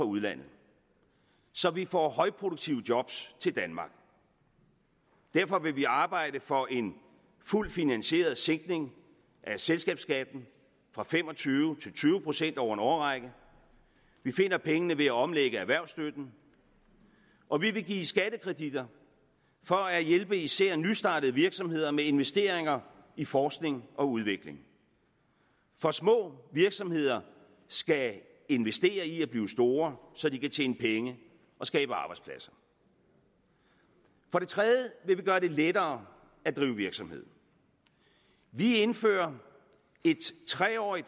udlandet så vi får højproduktive job til danmark derfor vil vi arbejde for en fuldt finansieret sænkning af selskabsskatten fra fem og tyve til tyve procent over en årrække vi finder pengene ved at omlægge erhvervsstøtten og vi vil give skattekreditter for at hjælpe især nystartede virksomheder med investeringer i forskning og udvikling for små virksomheder skal investere i at blive store så de kan tjene penge og skabe arbejdspladser for det tredje vil vi gøre det lettere at drive virksomhed vi indfører et tre årig